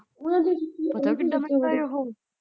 ਉਹ ਵੀ ਵਿਚੇ